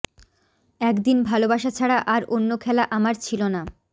একদিন ভালোবাসা ছাড়া আর অন্য খেলা আমার ছিলো না